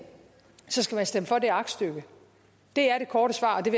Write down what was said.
så skal man stemme for det aktstykke det er det korte svar og det